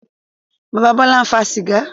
Bàbá Bọ́lá ń fa sìgá.